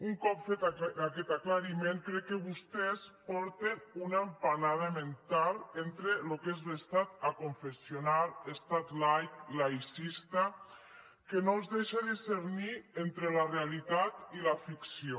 un cop fet aquest aclariment crec que vostès porten una empanada mental entre el que és l’estat aconfessional estat laic laïcista que no els deixa discernir entre la realitat i la ficció